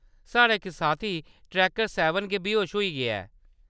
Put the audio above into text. साढ़ा इक साथी ट्रैकर सैह्‌‌‌बन गै बेहोश होई गेआ ऐ।